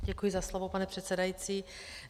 Děkuji za slovo, pane předsedající.